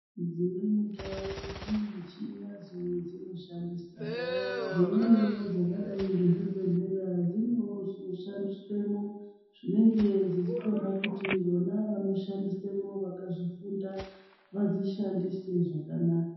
Dzimweni ndau dzine michini yadzo yadzinoshandisa dzimweniwo dzakadai ngechibhedhlera dzinewo zvinoshandiswamo zvinenge zvichitoda kuti vona vanoshandamo vakazvifunda vadzishandise zvakanaka